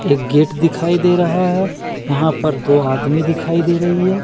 एक गेट दिखाई दे रहा है यहां पर दो आदमी दिखाई दे रही है।